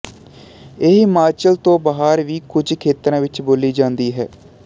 ਇਹ ਹਿਮਾਚਲ ਤੋਂ ਬਾਹਰ ਵੀ ਕੁਝ ਖੇਤਰਾਂ ਵਿੱਚ ਬੋਲੀ ਜਾਂਦੀ ਹੈ